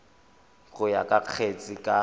go ya ka kgetse ka